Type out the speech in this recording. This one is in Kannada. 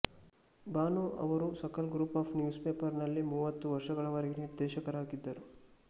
ಭಾನೂ ಅವರು Sakal group of newspaper ನಲ್ಲಿ ಮೂವತ್ತು ವರ್ಷಗಳವರೆಗೆ ನಿರ್ದೇಶಕರಾಗಿದ್ದರು